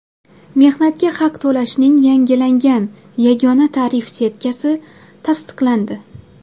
Mehnatga haq to‘lashning yangilangan yagona tarif setkasi tasdiqlandi.